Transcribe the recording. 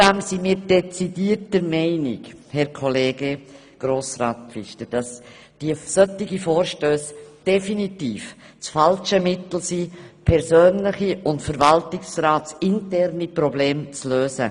Zudem sind wir dezidiert der Meinung, Herr Kollege Grossrat Pfister, dass solche Vorstösse definitiv das falsche Mittel sind, persönliche und verwaltungsratsinterne Probleme zu lösen.